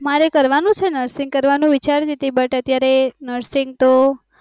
મારે કરવાનું છેને nursing કરવાનું વિચારતી તી, but અત્યારે nursing તો